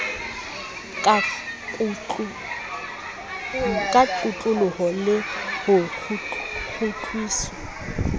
ka kotloloho le ho kgutliswa